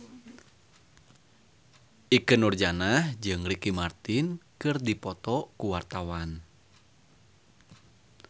Ikke Nurjanah jeung Ricky Martin keur dipoto ku wartawan